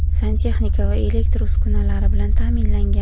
santexnika va elektr uskunalari) bilan ta’minlangan.